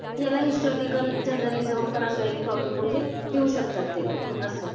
याला historical journalism पण असा एक टॉपिक म्हणजे देऊ शकतात ते लोक. असे आहे.